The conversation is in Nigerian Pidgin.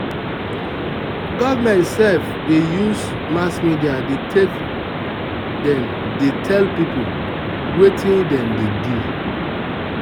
government sef dey use mass media take dey tell people wetin dem dey do.